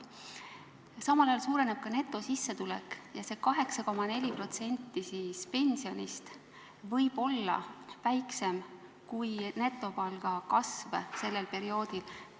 See 8,4% pensionist võib olla väiksem kui netopalga kasv sellel perioodil.